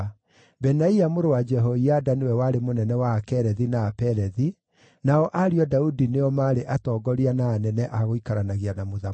Benaia mũrũ wa Jehoiada nĩwe warĩ mũnene wa Akerethi na Apelethi; nao ariũ a Daudi nĩo maarĩ atongoria na anene a gũikaranagia na mũthamaki.